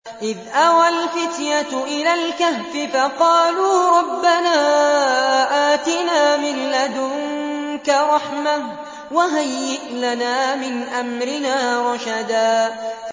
إِذْ أَوَى الْفِتْيَةُ إِلَى الْكَهْفِ فَقَالُوا رَبَّنَا آتِنَا مِن لَّدُنكَ رَحْمَةً وَهَيِّئْ لَنَا مِنْ أَمْرِنَا رَشَدًا